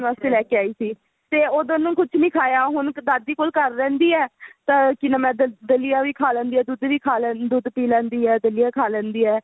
ਵਾਸਤੇ ਲੈਕੇ ਆਈ ਸੀ ਤੇ ਉਦੋਂ ਉਹਨੇ ਕੁੱਝ ਨੀ ਖਾਇਆ ਹੁਣ ਦਾਦੀ ਕੋਲ ਘਰ ਰਹਿੰਦੀ ਏ ਤਾਂ ਕੀ ਨਾਮ ਹੈ ਦਲੀਆ ਵੀ ਖਾ ਲੈਂਦੀ ਹੈ ਦੁੱਧ ਵੀ ਖਾ ਦੁੱਧ ਵੀ ਪੀ ਲੈਂਦੀ ਹੈ ਦਲੀਆ ਖਾ ਲੈਂਦੀ ਹੈ